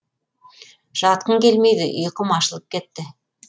жатқым келмейді ұйқым ашылып кетті